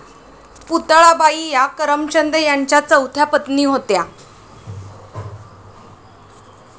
पुतळाबाई या करमचंद यांच्या चौथ्या पत्नी होत्या.